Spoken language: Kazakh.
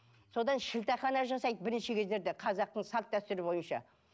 содан шілдехана жасайды бірінші кездерде қазақтың салт дәстүрі бойынша